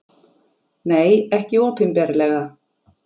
Nei, ekki opinberlega.